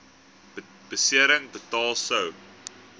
besering betaal sou